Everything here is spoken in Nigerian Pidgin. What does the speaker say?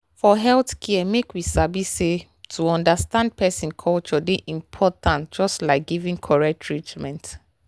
for healthcare make we sabi say to understand person culture dey important just like giving correct treatment.